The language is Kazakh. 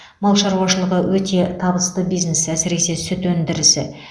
мал шаруашылығы өте табысты бизнес әсіресе сүт өндірісі